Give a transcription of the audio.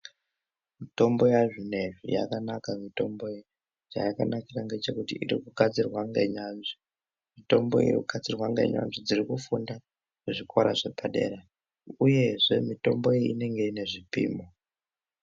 Mitombo yazvinezvi yakanaka mitombo iyi chayakanakira ngechekuti irikugadzirwa ngenyanzvi mitombo iri kugadzirwa ngenyanzvi dziri kufunda zvikora zvepadera uyezve mitombo iyi inenge inezvipimo.